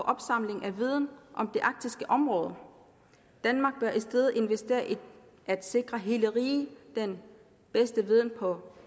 opsamlingen af viden om det arktiske område danmark bør i stedet investere i at sikre hele riget den bedste viden på